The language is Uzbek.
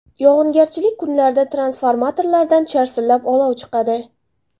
Yog‘ingarchilik kunlarida transformatorlardan charsillab olov chiqadi.